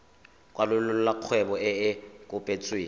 kwalolola kgwebo e e kopetsweng